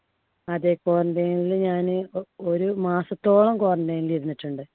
അതെ quarantine ല് ഞാന് ഒ~ ഒരു മാസത്തോളം quarantine ല് ഇരുന്നിട്ടുണ്ട്.